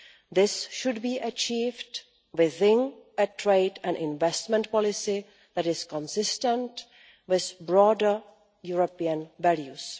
This should be achieved within a trade and investment policy that is consistent with broader European values.